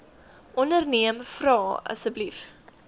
onderneem vra asseblief